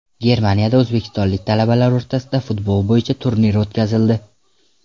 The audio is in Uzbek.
Germaniyada o‘zbekistonlik talabalar o‘rtasida futbol bo‘yicha turnir o‘tkazildi.